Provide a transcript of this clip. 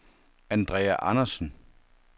Andrea Andersen